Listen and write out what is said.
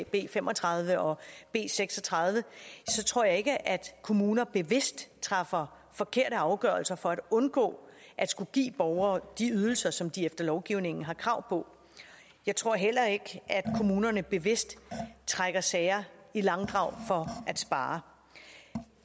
b fem og tredive og b seks og tredive tror jeg ikke at kommuner bevidst træffer forkerte afgørelser for at undgå at skulle give borgere de ydelser som de efter lovgivningen har krav på jeg tror heller ikke at kommunerne bevidst trækker sager i langdrag for at spare